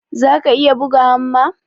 zaka iya buga hamma?